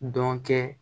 Dɔn kɛ